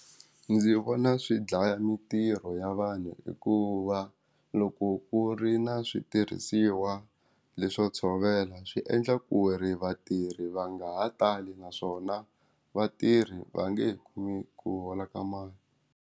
Ndzi vona swi dlaya mintirho ya vanhu hikuva loko ku ri na switirhisiwa leswi swo tshovela swi endla ku ri vatirhi va nga ha tali naswona vatirhi va nge he kumi ku hola ka mali.